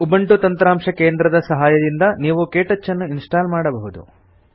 Ubuntu ತಂತ್ರಾಂಶ ಕೇಂದ್ರದ ಸಹಾಯದಿಂದ ನೀವು ಕೆಟಚ್ ಅನ್ನು ಇನ್ಸ್ಟಾಲ್ ಮಾಡಬಹುದು